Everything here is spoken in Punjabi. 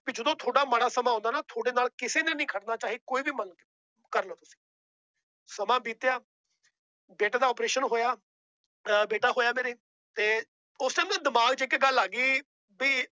ਵੀ ਜਦੋਂ ਤੁਹਾਡਾ ਮਾੜਾ ਸਮਾਂ ਆਉਂਦਾ ਨਾ ਤੁਹਾਡੇ ਨਾਲ ਕਿਸੇ ਨੇ ਨੀ ਖੜਨਾ ਚਾਹੇ ਕੋਈ ਵੀ ਕਰ ਲਓ ਤੁਸੀਂ ਸਮਾਂ ਬੀਤਿਆ ਬੇਟੇ ਦਾ operation ਹੋਇਆ ਹਮ ਬੇਟਾ ਹੋਇਆ ਮੇਰੇ ਤੇ ਉਸ time ਨਾ ਦਿਮਾਗ ਚ ਇੱਕ ਗੱਲ ਆ ਗਈ ਵੀ